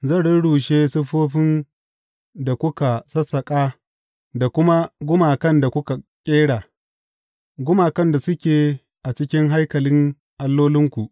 Zan rurrushe siffofin da kuka sassaƙa da kuma gumakan da kuka ƙera gumakan da suke a cikin haikalin allolinku.